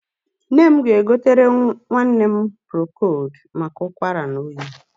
Nne m ga-egotere nwanne m prokold maka ụkwara na oyi.